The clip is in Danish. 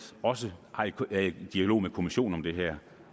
også er i dialog med kommissionen om det her